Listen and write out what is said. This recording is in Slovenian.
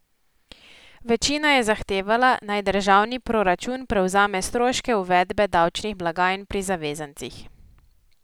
Večina je zahtevala, naj državni proračun prevzame stroške uvedbe davčnih blagajn pri zavezancih.